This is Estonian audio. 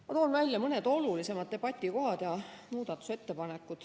Ma toon välja mõne olulisema debatikoha ja muudatusettepaneku.